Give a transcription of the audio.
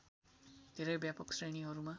धेरै व्यापक श्रेणीहरूमा